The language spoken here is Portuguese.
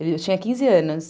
Eu tinha quinze anos.